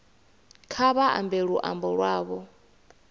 kha vha ambe luambo lwavho